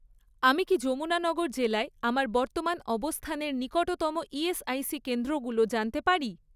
আমি কি যমুনানগর জেলায় আমার বর্তমান অবস্থানের নিকটতম ইএসআইসি কেন্দ্রগুলো জানতে পারি?